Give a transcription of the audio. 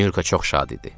Nurka çox şad idi.